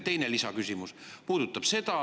Ja teine, lisaküsimus.